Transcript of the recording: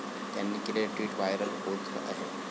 त्यांनी केलेलेे tweet viral होत आहे.